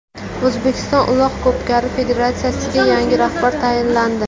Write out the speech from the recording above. O‘zbekiston Uloq ko‘pkari federatsiyasiga yangi rahbar tayinlandi.